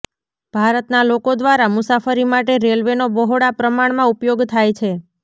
ભારતના લોકો દ્વારા મુસાફરી માટે રેલવેનો બહોળા પ્રમાણમાં ઉપયોગ થાય છે